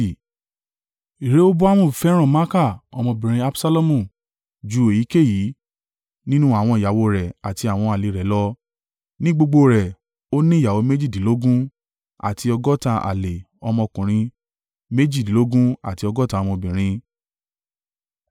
Rehoboamu fẹ́ràn Maaka ọmọbìnrin Absalomu ju èyíkéyìí nínú àwọn ìyàwó rẹ̀ àti àwọn àlè rẹ̀ lọ. Ní gbogbo rẹ̀, ó ní ìyàwó méjìdínlógún àti ọgọ́ta àlè ọmọkùnrin méjìdínlọ́gbọ̀n àti ọgọ́ta ọmọbìnrin.